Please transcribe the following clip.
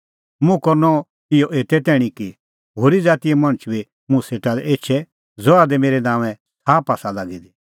मुंह करनअ इहअ एते तैणीं कि होरी ज़ातीए मणछ बी मुंह सेटा लै एछे ज़हा दी मेरै नांओंए छ़ाप आसा लागी दी